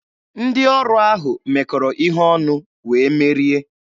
Ndị ọrụ ahụ mekọrọ ihe ọnụ, wee merie.